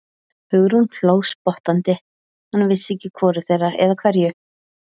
Hugrún hló spottandi, hann vissi ekki að hvoru þeirra, eða hverju.